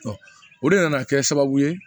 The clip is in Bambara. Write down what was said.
o de nana kɛ sababu ye